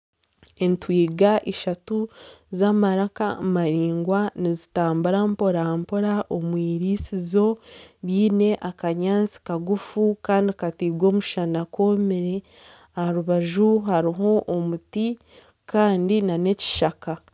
Entwiga z'amaraka maraingwa nizitambura mpora mpora omu irisizo riine akanyaatsi kagufu kandi katairwe omushana koomire aha rubaju hariho omuti kandi nana ekishaka